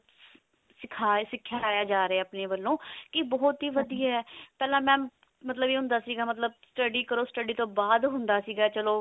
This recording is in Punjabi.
ਸਿਖਾ ਸਿਖਾਇਆ ਜਾ ਰਿਹਾ ਆਪਣੇ ਵੱਲੋਂ ਕੀ ਬਹੁਤ ਹੀ ਵਧੀਆ ਪਹਿਲਾਂ mam ਮਤਲਬ ਇਹ ਹੁੰਦਾ ਸੀ ਮਤਲਬ study ਕਰੋ study ਤੋਂ ਬਾਅਦ ਹੁੰਦਾ ਸੀਗਾ ਚਲੋ